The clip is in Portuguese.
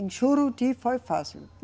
Em Juruti foi fácil.